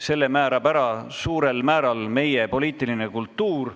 Selle määrab suurel määral meie poliitiline kultuur.